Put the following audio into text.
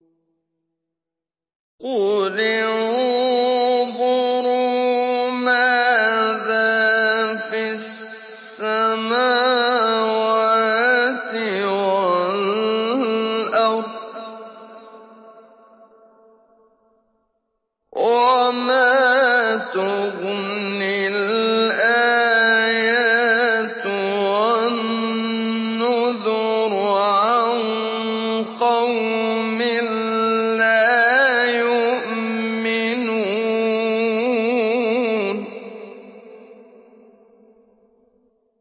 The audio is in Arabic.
قُلِ انظُرُوا مَاذَا فِي السَّمَاوَاتِ وَالْأَرْضِ ۚ وَمَا تُغْنِي الْآيَاتُ وَالنُّذُرُ عَن قَوْمٍ لَّا يُؤْمِنُونَ